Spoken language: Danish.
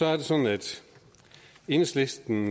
er det sådan at enhedslisten